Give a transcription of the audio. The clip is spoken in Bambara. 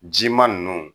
Jima ninnu